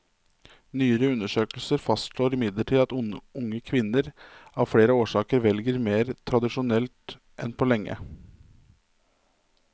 Nyere undersøkelser fastslår imidlertid at unge kvinner av flere årsaker velger mer tradisjonelt enn på lenge.